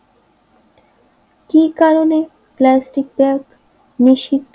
কি কারণে plastic bag নিষিদ্ধ